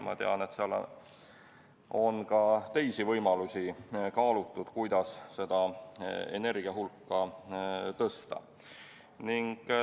Ma tean, et seal on kaalutud ka teisi võimalusi, kuidas seda energiahulka suurendada.